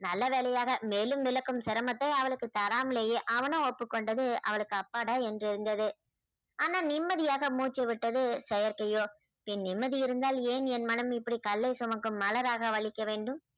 நல்ல வேலையாக மேலும் விளக்கும் சிரமத்தை அவளுக்கு தராமலேயே அவனும் ஒப்புக்கொண்டது அவளுக்கு அப்பாடா என்றிருந்தது ஆனா நிம்மதியாக மூச்சு விட்டது செயற்கையோ என் நிம்மதி இருந்தால் ஏன் என் மனம் இப்படி கல்லை சுமக்கும் மலராக வலிக்க வேண்டும்